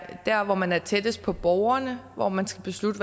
der hvor man er tættest på borgerne og hvor man skal beslutte